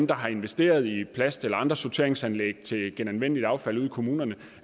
der har investeret i plast eller andre sorteringsanlæg til genanvendeligt affald ude i kommunerne